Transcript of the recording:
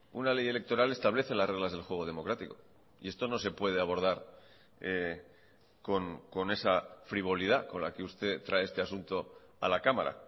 una ley electoral establece las reglas del juego democrático y esto no se puede abordar con esa frivolidad con la que usted trae este asunto a la cámara